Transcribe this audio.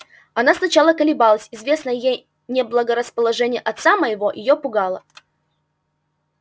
она сначала колебалась известное ей неблагорасположение отца моего её пугало